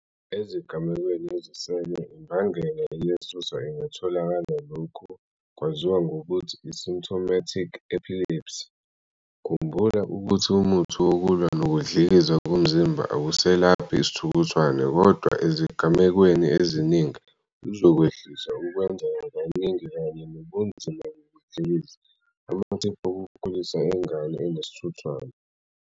Ezigamekweni ezisele imbangela eyisisusa ingatholakala, lokhu kwaziwa ngokuthi i-symptomatic epilepsy. Khumbula, ukuthi umuthi wokulwa nokudlikiza komzimba awuselaphi isithuthwane kodwa, ezigamekweni eziningi, uzokwehlisa ukwenzeka kaningi kanye nobunzima bokudlikiza. Amathiphu okukhulisa ingane enesithuthwane.